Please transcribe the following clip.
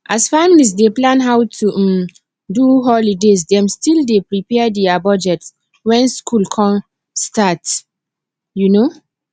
as families dey plan how to um do holiday dem still dey prepare dia budgets when school um start um